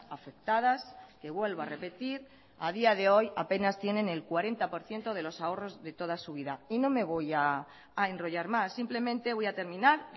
afectadas que vuelvo a repetir a día de hoy apenas tienen el cuarenta por ciento de los ahorros de toda su vida y no me voy a enrollar más simplemente voy a terminar